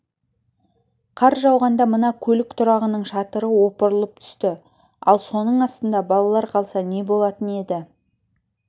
қар жауғанда мына көлік тұрағының шатыры опырылып түсті ал соның астында балалар қалса не болатын еді